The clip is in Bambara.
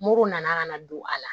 Mori nana ka na don a la